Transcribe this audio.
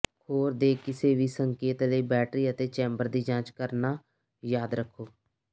ਖੋਰ ਦੇ ਕਿਸੇ ਵੀ ਸੰਕੇਤ ਲਈ ਬੈਟਰੀ ਅਤੇ ਚੈਂਬਰ ਦੀ ਜਾਂਚ ਕਰਨਾ ਯਾਦ ਰੱਖੋ